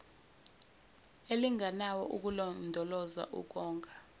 elinganayo ukulondoloza ukonga